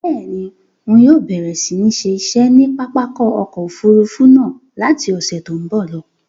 Bẹ́ẹ̀ni, ń yóò bẹ̀rẹ̀ si ni ṣe iṣẹ́ ni pápákọ̀ ọkọ Òfurufú náà láti ọ̀sẹ̀ tòun bọ̀ lọ.